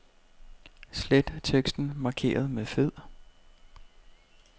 Slet teksten markeret med fed.